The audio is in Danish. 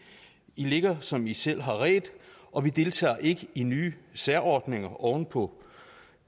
i ligger som i selv har redt og vi deltager ikke i nye særordninger oven på